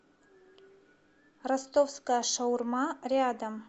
ростовская шаурма рядом